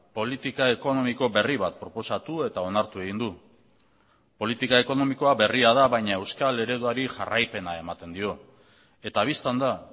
politika ekonomiko berri bat proposatu eta onartu egin du politika ekonomikoa berria da baina euskal ereduari jarraipena ematen dio eta bistan da